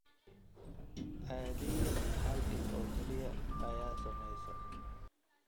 Caadiyan hal il oo kaliya ayaa saamaysa.